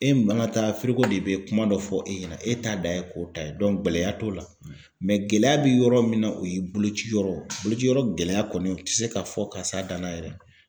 E mana taa de bi kuma dɔ fɔ e ɲɛna, e t'a dan ye k'o ta ye gɛlɛya t'o la gɛlɛya bi yɔrɔ min na, o ye boloci yɔrɔ boloci yɔrɔ gɛlɛya kɔni, o ti se ka fɔ ka s'a danna yɛrɛ.